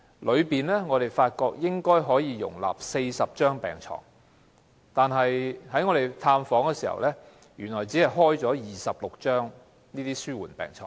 我們發現，病房應該可以容納40張病床，但在探訪時卻看到病房只放置了26張紓緩治療病床。